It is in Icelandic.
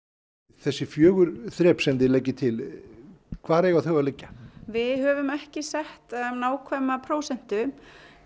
þessi fjögur þrep sem þið leggið til hvar eiga þau að liggja við höfum ekki sett nákvæma prósentu